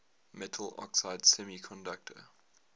metal oxide semiconductor